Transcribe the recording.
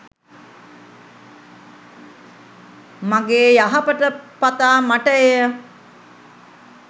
මගේ යහපත පතා මට එය